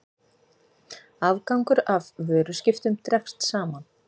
Afgangur af vöruskiptum dregst saman